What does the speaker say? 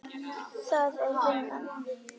Það er vinnan.